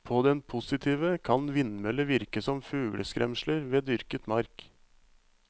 På den positive kan vindmøller virke som fugleskremsler ved dyrket mark.